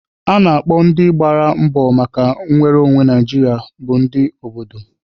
A na-akpọ ndị gbara mbọ maka nnwere onwe Naijiria bụ ndị obodo.